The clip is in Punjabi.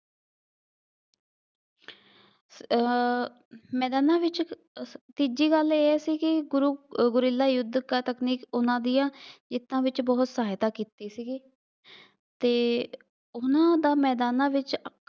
ਅਹ ਮੈਦਾਨਾਂ ਵਿੱਚ ਤੀਜੀ ਗੱਲ ਇਹ ਹੈ ਸੀ ਕਿ ਗੁਰੂ ਗੁਰੀਲਾ ਯੁੱਧ ਘਾਤਕਮਈ ਉਹਨਾ ਦੀਆਂ ਜਿੱਤਾਂ ਵਿੱਚ ਬਹੁਤ ਸਹਾਇਤਾ ਕੀਤੀ ਸੀਗੀ ਅਤੇ ਉਹਨਾ ਦਾ ਮੈਦਾਨਾਂ ਵਿੱਚ